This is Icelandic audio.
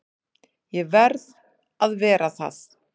Ég verð að vera það.